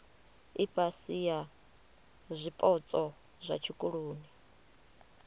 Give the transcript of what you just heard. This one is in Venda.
ifhasi ya zwipotso zwa tshikoloni